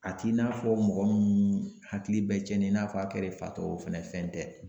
A t'i n'a fɔ mɔgɔ hakili bɛ cɛnnin n'a fɔ a kɛrɛw fatɔ o fɛnɛ fɛn tɛ.